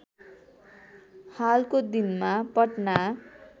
हालको दिनमा पटना